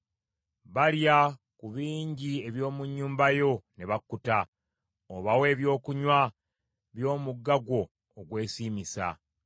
Balya ku bingi eby’omu nnyumba yo ne bakkuta; obawa ebyokunywa by’omugga gwo ogwesiimisa.